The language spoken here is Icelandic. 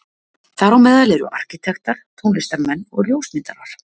Þar á meðal eru arkítektar, tónlistarmenn og ljósmyndarar.